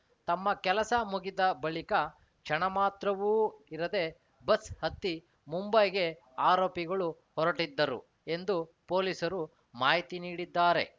ತಮ್ಮ ಕೆಲಸ ಮುಗಿದ ಬಳಿಕ ಕ್ಷಣ ಮಾತ್ರವೂ ಇರದೆ ಬಸ್‌ ಹತ್ತಿ ಮುಂಬೈಗೆ ಆರೋಪಿಗಳು ಹೊರಟಿದ್ದರು ಎಂದು ಪೊಲೀಸರು ಮಾಹಿತಿ ನೀಡಿದ್ದಾರೆ